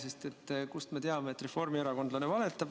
Sest kust me teame, et reformierakondlane valetab?